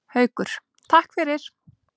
Haukur: Takk fyrir.